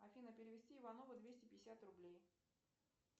афина перевести иванову двести пятьдесят рублей